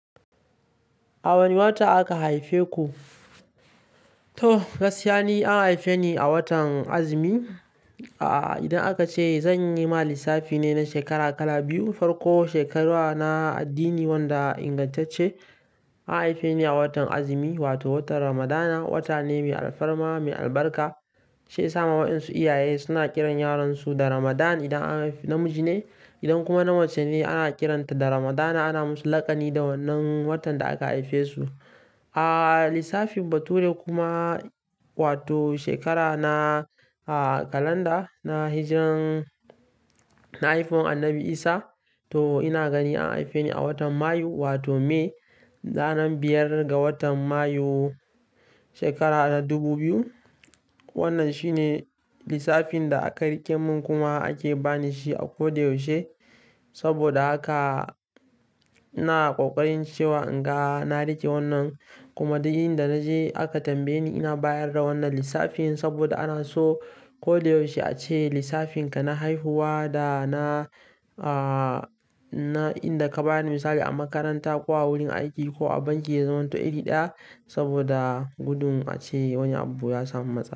A wane wata aka haife ku? To, gaskiya ne an haife ni a watan azumi. A'a, idan aka ce zan yi ma lissafi ne na shekara kala biyu, farko shekaru na addini wanda ingantacce an haife ni a watan azumi wato watan Ramadana. Wata ne mai alfarma, mai albarka shi wasu ma 'yan su iyaye suna kiran yaran su da Ramadan idan namiji ne. Idan kuma namace ne ana kiranta da Ramadana ana musu laƙani da wannan watan da aka haife su. A lissafin bature kuma wato shekara na kalanda na hijran, na haihuwar Annabi Isa to ina gani an haife ni a watan Mayu wato May, ranar biyar ga watan Mayu shekara dubu biyu. Wannan shi ne lissafin da aka rike mun kuma ake bani shi a ko da yaushe. Saboda haka ina ƙoƙarin cewa in ga na rike wannan kuma daga inda naje aka tambaye ni ina bayar da wannan lissafin saboda ana so ko da yaushe a ce lissafinka na haihuwa da na, na inda ka bayar da misali a makaranta ko a wurin aiki ko a banki ya zamanto wato iri ɗaya saboda gudun ace wani abu ya samu matsala.